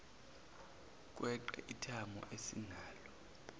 kweqe ithamo esinalo